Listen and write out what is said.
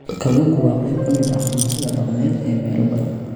Kalluunku waa qayb ka mid ah cuntada dhaqameed ee meelo badan.